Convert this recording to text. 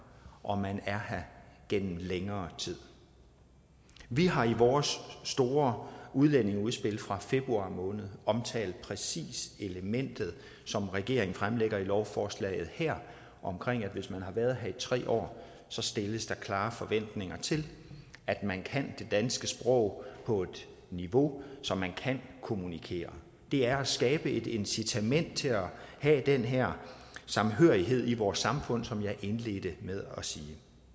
og man er her gennem længere tid vi har i vores store udlændingeudspil fra februar måned omtalt præcis det element som regeringen fremlægger i lovforslaget her om at hvis man har været her i tre år stilles der klare forventninger til at man kan det danske sprog på et niveau så man kan kommunikere det er at skabe et incitament til at have den her samhørighed i vores samfund som jeg indledte med at sige